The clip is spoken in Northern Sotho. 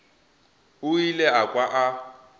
o ile a kwa a